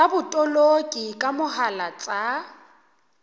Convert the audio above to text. tsa botoloki ka mohala tsa